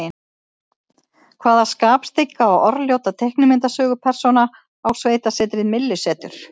Hvaða skapstygga og orðljóta teiknimyndasögupersóna á sveitasetrið Myllusetur?